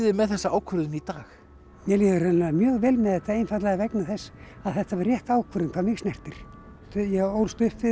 með þessa ákvörðun í dag mér líður mjög vel það einfaldlega vegna þess að þetta var rétt ákvörðun hvað mig snertir ég ólst upp við